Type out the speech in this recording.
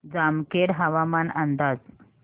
जामखेड हवामान अंदाज